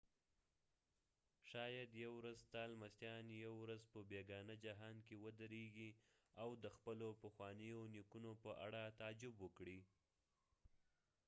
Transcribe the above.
شاید یو ورځ ستا لمسیان یو ورځ په بیګانه جهان کې ودرېږي او د خپلو پخوانیو نیکونو په اړه تعجب وکړي